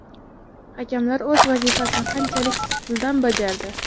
Hakamlar o‘z vazifasini qanchalik sidqidildan bajardi?